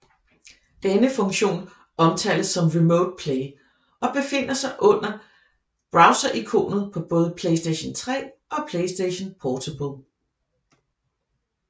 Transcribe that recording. Denne funktion omtales som Remote Play og befinder sig under browserikonet på både PlayStation 3 og PlayStation Portable